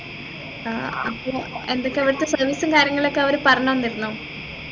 ആഹ് അപ്പൊ എന്തൊക്കെ ഇവിടുത്തെ service ഉം കാര്യങ്ങളും ഒക്കെ അവര് പറഞ്ഞു തന്നിരുന്നോ